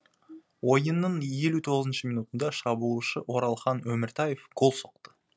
ойынның елу тоғызыншы минутында шабуылшы оралхан өміртаев гол соқты